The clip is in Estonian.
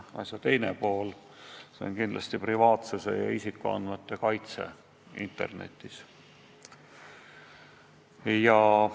Asja teine pool on aga privaatsuse ja isikuandmete kaitse internetis.